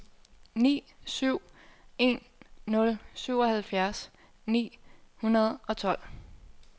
ni syv en nul syvoghalvfjerds ni hundrede og tolv